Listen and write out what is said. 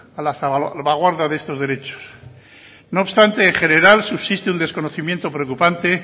a la salvaguarda de estos derechos no obstante en general subsiste un desconocimiento preocupante